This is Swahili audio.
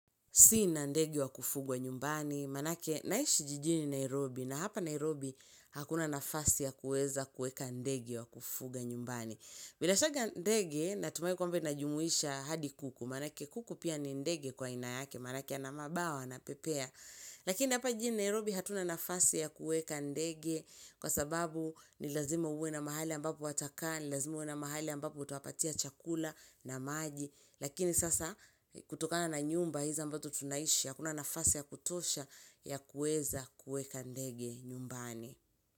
Sina ndege wa kufugwa nyumbani, maanake naishi jijini Nairobi na hapa Nairobi hakuna nafasi ya kuweza kuweka ndege wa kufuga nyumbani. Bila shaka ndege, natumai kwamba inajumuisha hadi kuku, maanake kuku pia ni ndege kwa aina yake, maanake ana mabawa, anapepea. Lakini hapa jijini Nairobi hatuna nafasi ya kuweka ndege kwa sababu ni lazima uwe na mahali ambapo watakaa, ni lazima uwe na mahali ambapo utawapatia chakula na maji. Lakini sasa kutokana na nyumba hizi ambazo tunaishi hakuna nafasi ya kutosha ya kuweza kuweka ndege nyumbani.